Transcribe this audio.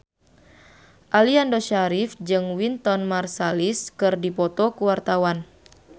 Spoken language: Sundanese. Aliando Syarif jeung Wynton Marsalis keur dipoto ku wartawan